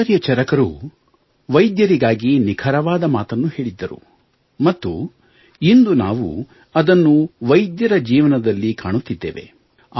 ಆಚಾರ್ಯ ಚರಕರು ವೈದ್ಯರಿಗಾಗಿ ನಿಖರವಾದ ಮಾತನ್ನು ಹೇಳಿದ್ದರು ಮತ್ತು ಇಂದು ನಾವು ಅದನ್ನು ವೈದ್ಯರ ಜೀವನದಲ್ಲಿ ಕಾಣುತ್ತಿದ್ದೇವೆ